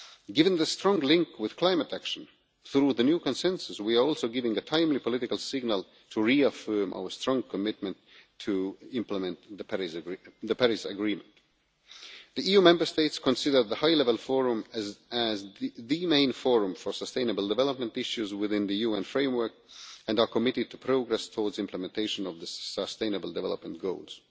Given the strong link with climate action, through the new consensus we are also giving a timely political signal to reaffirm our strong commitment to implement the Paris Agreement. The EU Member States consider the High Level Forum as the main forum for sustainable development issues within the UN framework and are committed to progress towards implementation of the sustainable development goals.